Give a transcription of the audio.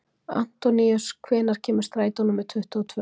Antóníus, hvenær kemur strætó númer tuttugu og tvö?